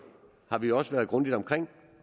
har vi også været grundigt omkring